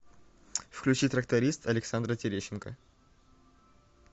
включи тракторист александра терещенко